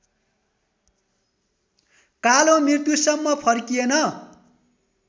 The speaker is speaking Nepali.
कालो मृत्युसम्म फर्किएन